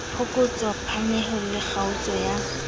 phokotso phanyeho le kgaotso ya